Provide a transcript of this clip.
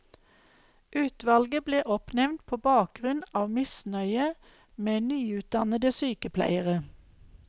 Utvalget ble oppnevnt på bakgrunn av misnøye med nyutdannede sykepleiere.